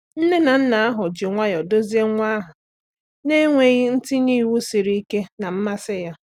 Nne na nna ahụ ji nwayọọ duzie nwa ahụ na-enweghị itinye iwu siri ike na mmasị ya.